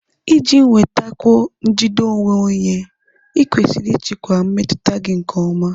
Iji nwetakwuo njide onwe onye, ​​ịkwesịrị ịchịkwa mmetụta gị nke ọma.